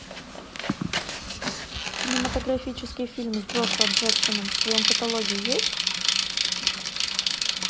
кинематографический фильм с джошуа джексоном в твоем каталоге есть